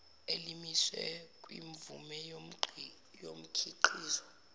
elimiswe kwimvume yomkhiqizo